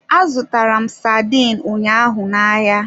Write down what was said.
Azụtara m sardine ụnyaahụ n'ahịa.